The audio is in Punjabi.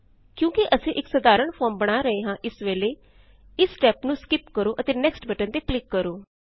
ਕਿਓਂਕੀ ਅਸੀਂ ਇਕ ਸਾਧਾਰਣ ਫੋਰਮ ਬਣਾ ਰਹੇ ਹਾਂ ਇਸ ਵੇਲ਼ੇ ਇਸ ਸਟੇਪ ਨੂੰ ਸਕਿੱਪ ਕਰੋ ਅਤੇ ਨੈਕਸਟ ਬਟਨ ਤੇ ਕਲਿਕਕਰੋ